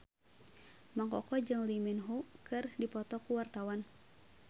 Mang Koko jeung Lee Min Ho keur dipoto ku wartawan